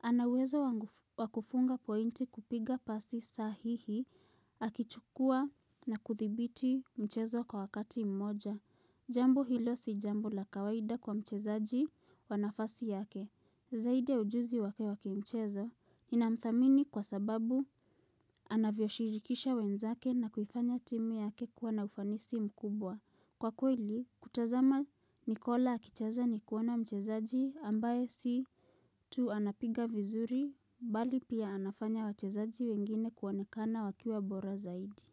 Anaweza wakufunga pointi kupiga pasi sahihi, akichukua na kuthibiti mchezo kwa wakati mmoja. Jambo hilo si jambo la kawaida kwa mchezaji wa nafasi yake. Zaidi ya ujuzi wake wakimchezo, inamthamini kwa sababu anavyoshirikisha wenzake na kufanya timu yake kuwa na ufanisi mkubwa. Kwa kweli, kutazama Nikola akichaza ni kuwana mchezaji ambaye si tu anapiga vizuri, bali pia anafanya wachezaji wengine kuonekana wakiwa bora zaidi.